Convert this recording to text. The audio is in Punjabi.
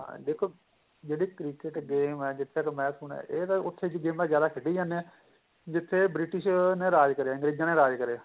ਹਾਂ ਦੇਖੋ ਜਿਹੜੀ cricket game ਏ ਜਿੱਥੇ ਤੱਕ ਮੈਂ ਸੁਣਿਆ ਇਹ ਤਾਂ ਉੱਥੇ ਦੀਆਂ ਗੇਮਾ ਜਿਆਦਾ ਖੇਡੀ ਜਾਂਦੇ ਏ ਜਿੱਥੇ British ਨੇ ਰਾਜ ਕਰਿਆ ਸੀ ਅਗਰੇਜਾ ਨੇ ਰਾਜ ਕਰਿਆ